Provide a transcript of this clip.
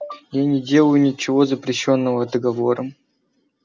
я не делаю ничего запрещённого договором